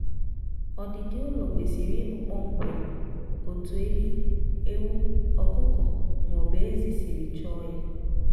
ọdịdi ụlọ kwesịrị ịbụ kpọmkwem otu ehi ewu ọkụkọ maọbụ ezi siri chọọ ya